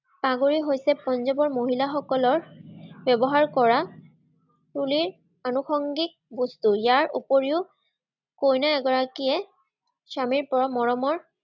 পাগুৰি হৈছে পাঞ্জাৱৰ মহিলাসকলৰ ব্যৱহাৰ কৰা তোলেই আনুসংগীক বস্তু, আৰু ইয়াৰ উপৰিও কইনা এগৰাকীয়ে স্বামীৰপৰা মৰমৰ